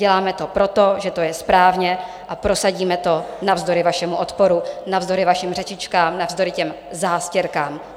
Děláme to proto, že to je správně, a prosadíme to navzdory vašemu odporu, navzdory vašim řečičkám, navzdory těm zástěrkám.